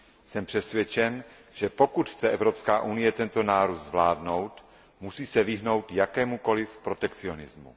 Jsem přesvědčen, že pokud chce Evropská unie tento nárůst zvládnout, musí se vyhnout jakémukoliv protekcionizmu.